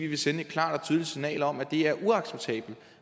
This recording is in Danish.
vil sende et klart og tydeligt signal om at det er uacceptabelt at